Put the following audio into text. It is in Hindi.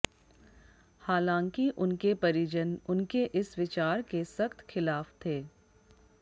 हालाँकि उनके परिजन उनके इस विचार के सख्त खिलाफ थे